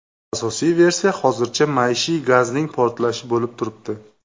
Asosiy versiya hozircha maishiy gazning portlashi bo‘lib turibdi.